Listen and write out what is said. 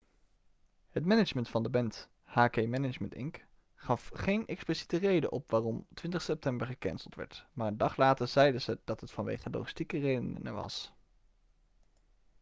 het management van de band hk management inc gaf geen expliciete reden op waarom 20 september gecanceld werd maar een dag later zeiden ze dat het vanwege logistieke redenen was